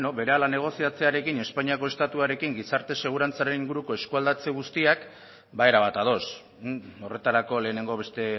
ba bueno berehala negoziatzearekin espainiako estatuarekin gizarte segurantzaren inguruko eskualdatzeko guztiak ba erabat ados horretarako lehenengo beste